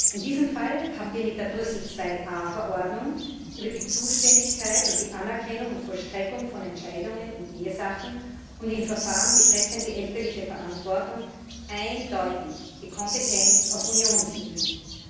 In diesem Fall haben wir mit der Brüssel IIa Verordnung über die Zuständigkeit und die Anerkennung und Vollstreckung von Entscheidungen in Ehesachen und in Verfahren betreffend die elterliche Verantwortung eindeutig die Kompetenz auf Unionsebene.